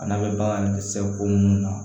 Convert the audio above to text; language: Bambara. A n'a bɛ bagan sɛ ko munnu na